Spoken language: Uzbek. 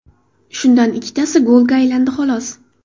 Shundan ikkitasi golga aylandi xolos.